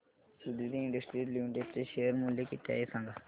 Suditi industries limited चे share मूल्य किती आहे सांगा